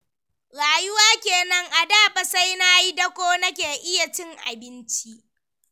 Rayuwa kenan, a da fa sai na yi dako nake iya cin abinci.